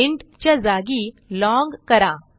int च्या जागी लाँग करा